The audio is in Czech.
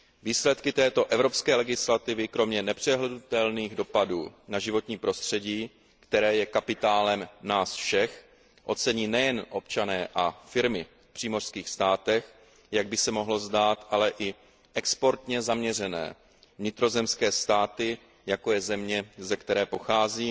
Výsledky této evropské legislativy kromě nepřehlédnutelných dopadů na životní prostředí, které je kapitálem nás všech, ocení nejen občané a firmy v přímořských státech, jak by se mohlo zdát, ale i exportně zaměřené vnitrozemské státy, jako je země, ze které pocházím,